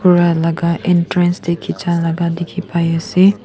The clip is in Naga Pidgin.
ra laga entrance tae khichia laga dikhipaiase.